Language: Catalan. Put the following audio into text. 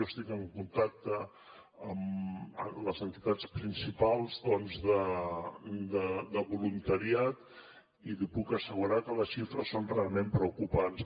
jo estic en contacte amb les entitats principals doncs de voluntariat i li puc assegurar que les xifres són realment preocupants